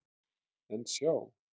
En sjá!